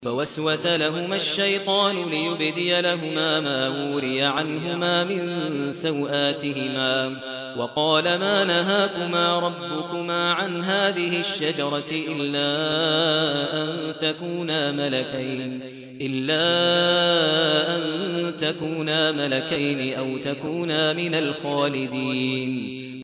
فَوَسْوَسَ لَهُمَا الشَّيْطَانُ لِيُبْدِيَ لَهُمَا مَا وُورِيَ عَنْهُمَا مِن سَوْآتِهِمَا وَقَالَ مَا نَهَاكُمَا رَبُّكُمَا عَنْ هَٰذِهِ الشَّجَرَةِ إِلَّا أَن تَكُونَا مَلَكَيْنِ أَوْ تَكُونَا مِنَ الْخَالِدِينَ